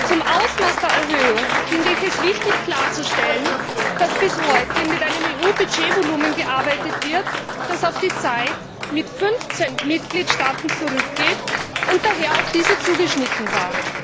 Zum Ausmaß der Erhöhung finde ich es wichtig, klarzustellen, dass bis heute mit einem EU Budgetvolumen gearbeitet wird, das auf die Zeit mit 15 Mitgliedstaaten zurückgeht und daher auf diese zugeschnitten war.